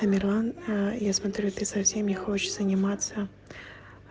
тамерлан аа я смотрю ты совсем не хочешь заниматься